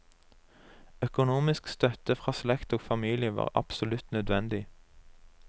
Økonomisk støtte fra slekt og familie var absolutt nødvendig.